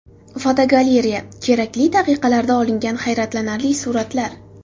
Fotogalereya: Kerakli daqiqalarda olingan hayratlanarli suratlar.